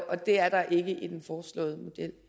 og det er der ikke